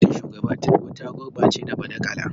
Gwamnatin Shugaba Tinubu ta gurɓace da badakala.